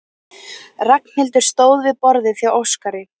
Ragnhildur stóð við borðið hjá Óskari.